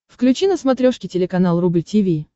включи на смотрешке телеканал рубль ти ви